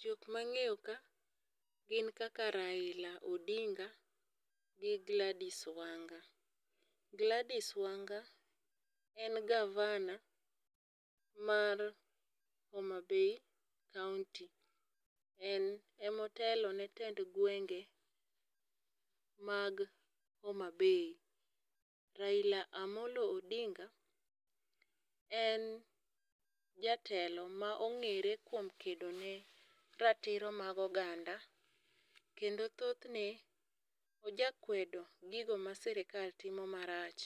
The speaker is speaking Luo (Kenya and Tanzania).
Jok ma ang'eyo ka gin kaka Raila Odinga gi Gladys Wanga, Gladys Wanga en gavana mar Homabay kaunti, en ema otelone tend gwenge mag HomaBay, Raila Amollo Odinga en jatelo ma ongere kuom kedone ratiro mag oganda kendo thothne oja kwedo gigo ma sirkal timo marach,